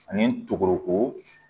Ani togoko